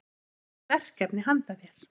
Ég hef verkefni handa þér.